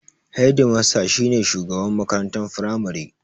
Hedimasta shi ne shugaban makarantar Firamare.